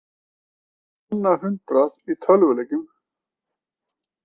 Á annað hundrað í tölvuleikjum